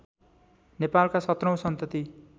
नेपालका सत्रौँ सन्तति